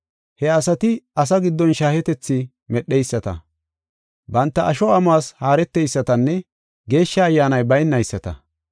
He asati asaa giddon shaahetethi medheyisata, banta asho amuwas haareteysatanne Geeshsha Ayyaanay baynayisata.